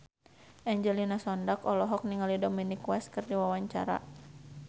Angelina Sondakh olohok ningali Dominic West keur diwawancara